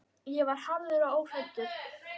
En ég var harður og óhræddur.